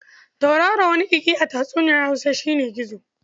Tauraro waniƙiƙi a tatsuniyar Hausa shi ne gizo.